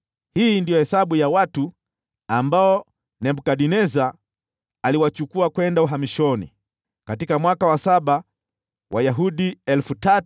Hii ndiyo hesabu ya watu ambao Nebukadneza aliwachukua kwenda uhamishoni: katika mwaka wa saba, Wayahudi 3,023;